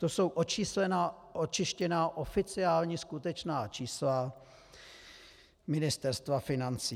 To jsou očištěná oficiální skutečná čísla Ministerstva financí.